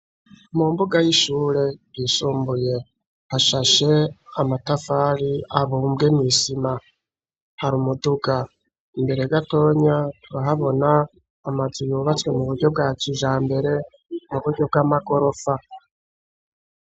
Mu mbuga y'ishure yishumbuye hashashe amatafari abumbwe mw'isima hari umuduga imbere gatonya, turahabona amazu yubatswe mu buryo bwakijambere mu buryo bw'amagorofa.